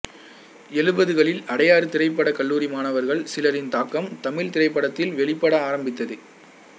எழுபதுகளில் அடையாறு திரைப்படக் கல்லூரி மாணவர்கள் சிலரின் தாக்கம் தமிழ்த் திரைப்படத்தில் வெளிப்பட ஆரம்பித்தது